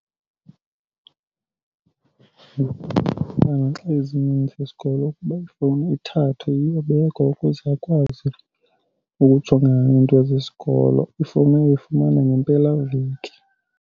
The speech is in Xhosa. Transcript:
Xa ezininzi izikolo ukuba ifowuni ithathwe iyobekwa ukuze akwazi ukujongana nento zesikolo. Ifowuni uyoyifumana ngempelaveki.